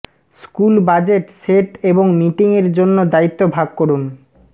school budget set এবং মিটিংয়ের জন্য দায়িত্ব ভাগ করুন